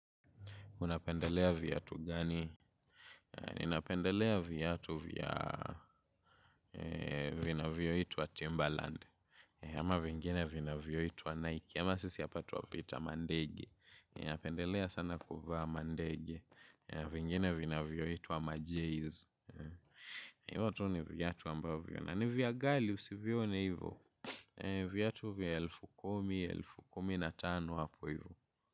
Unapendelea viatu gani? Ninapendelea viatu vinavyoitwa Timberland. Ama vingine vinavyoitwa Nike. Kama sisi hapa twapita mandege. Ninapendelea sana kuvaa mandege. Vingine vinavyoitwa majeiz. Hivo tu ni viatu ambavyo. Na ni vya ghali usivione hivo. Viatu vya elfu kumi, elfu kumi na tano hapo hivo.